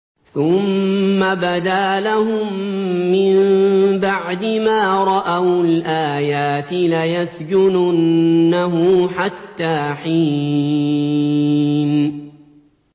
ثُمَّ بَدَا لَهُم مِّن بَعْدِ مَا رَأَوُا الْآيَاتِ لَيَسْجُنُنَّهُ حَتَّىٰ حِينٍ